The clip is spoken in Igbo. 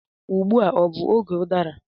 Ugbu a ọ bụ oge udara?